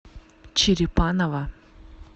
черепаново